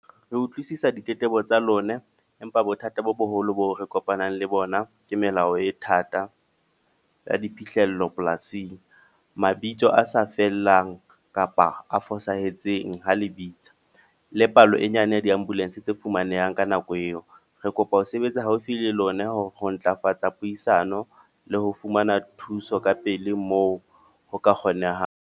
Re utlwisisa ditletlebo tsa lona. Empa bothata bo boholo bo re kopanang le bona, ke melao e thata ya diphihlello polasing. Mabitso a sa fellang kapa a fosahetseng ha le bitsa. Le palo e nyane ya di ambulance tse fumanehang ka nako eo. Re kopa ho sebetsa haufi le lona ho ntlafatsa puisano. Le ho fumana thuso ka pele moo ho ka kgonehang.